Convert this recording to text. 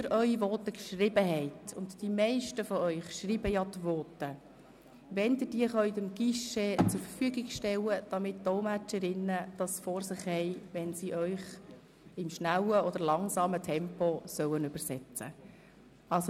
Die Simultandolmetscherinnen bitten Sie, geschriebene Voten beim Guichet abzugeben, damit sie Ihre Voten vor sich haben, wenn sie Sie im schnellen oder langsamen Tempo übersetzen sollen.